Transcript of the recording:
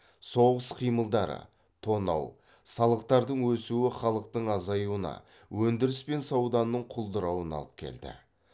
соғыс қимылдары тонау салықтардың өсуі халықтың азаюына өндіріс пен сауданың құлдырауына алып келді